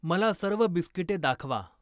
मला सर्व बिस्किटे दाखवा.